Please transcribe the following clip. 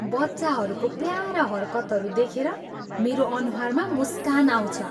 बच्चाहरूको प्यारा हरकतहरू देखेर मेरो अनुहारमा मुस्कान आउँछ।